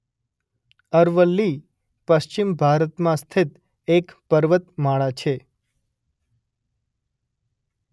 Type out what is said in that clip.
અરવલ્લી પશ્ચિમ ભારતમાં સ્થિત એક પર્વતમાળા છે.